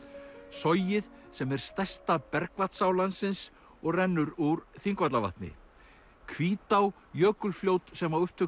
sogið sem er stærsta bergvatnsá landsins og rennur úr Þingvallavatni Hvítá jökulfljót sem á upptök